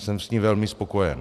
Jsem s ní velmi spokojen.